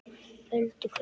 Öldu köldu